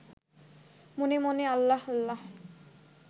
মনে মনে আল্লাহ আল্লাহ